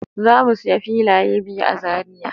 Zan mu sayi filaye biyu a Zariya!